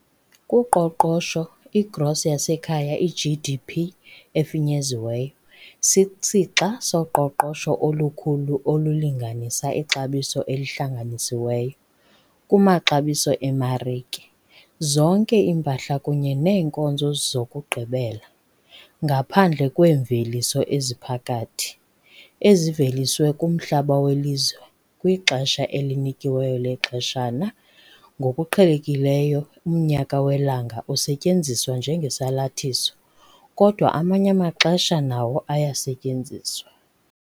Kuqoqosho, i-gross yasekhaya, i-GDP efinyeziweyo, sisixa soqoqosho olukhulu olulinganisa ixabiso elihlanganisiweyo, kumaxabiso emarike, zonke iimpahla kunye neenkonzo zokugqibela, ngaphandle kweemveliso eziphakathi, eziveliswe kumhlaba welizwe kwixesha elinikiweyo lexeshana ngokuqhelekileyo umnyaka welanga usetyenziswa njengesalathiso, kodwa amanye amaxesha nawo ayasetyenziswa.